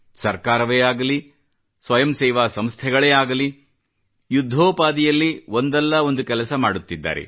ಸರ್ಕಾರವೇ ಆಗಲಿ ಸ್ವಯಂ ಸೇವಾ ಸಂಸ್ಥೆಗಳಾಗಲಿ ಯುದ್ಧೋಪಾದಿಯಲ್ಲಿ ಒಂದಲ್ಲ ಒಂದು ಕೆಲಸ ಮಾಡುತ್ತಿದ್ದಾರೆ